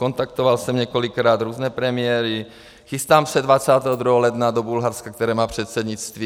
Kontaktoval jsem několikrát různé premiéry, chystám se 22. ledna do Bulharska, které má předsednictví.